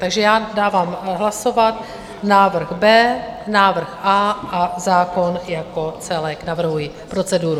Takže já dávám hlasovat návrh B, návrh A a zákona jako celek - navrhuji proceduru.